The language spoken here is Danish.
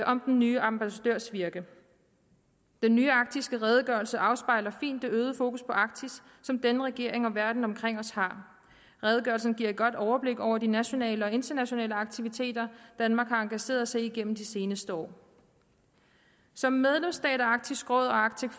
om den nye ambassadørs virke den nye arktiske redegørelse afspejler fint det øgede fokus på arktis som denne regering og verden omkring os har redegørelsen giver et godt overblik over de nationale og internationale aktiviteter som danmark har engageret sig i gennem de seneste år som medlemsstat af arktisk råd og arctic